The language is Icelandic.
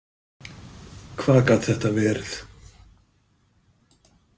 Hvað gat þetta verið?